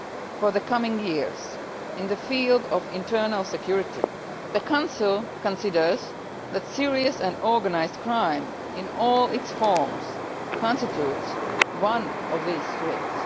For the coming years, in the field of internal security, the Council considers that serious and organised crime in all its forms constitutes one of these threats.